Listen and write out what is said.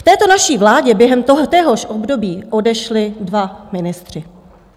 V této naší vládě během téhož období odešli dva ministři.